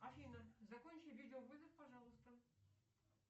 афина закончи видеовызов пожалуйста